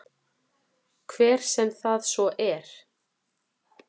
Hver sem það svo er.